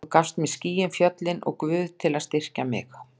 Þú gafst mér skýin og fjöllin og Guð til að styrkja mig.